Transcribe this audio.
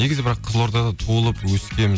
негізі бірақ қызылордада туылып өскенмін